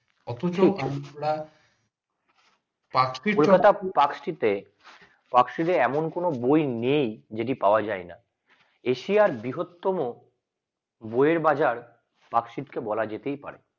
অথচ ওখানকার park street এ park street এ এমন কোন বই নেই যেটা পাওয়া যায় না এশিয়ার বৃহত্তম বইয়ের বাজার park street কে বলা যেতেই পারে।